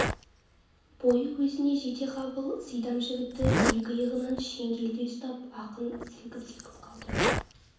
бойы өзіне жетеқабыл сидам жігітті екі иығынан шеңгелдей ұстап ақын сілкіп-сілкіп қалды